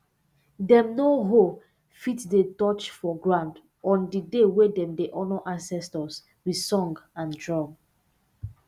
dem no hoe fit dey touch for ground on the day wey dem dey honour ancestors with song and drum